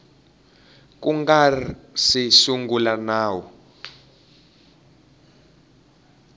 ku nga si sungula nawu